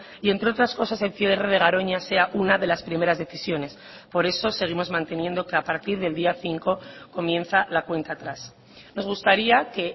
y entre otras cosas el cierre de garoña sea una de las primeras decisiones por eso seguimos manteniendo que a partir del día cinco comienza la cuenta atrás nos gustaría que